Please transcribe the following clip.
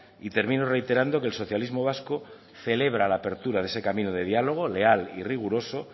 y termino reiterando que el socialismo vasco celebra la apertura de ese camino de diálogo leal y riguroso